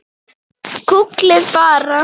Gúgglið bara.